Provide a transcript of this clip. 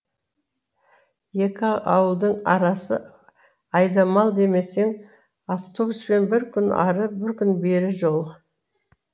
екі ауылдың арасы айдамал демесең автобуспен бір күн ары бір күн бері жол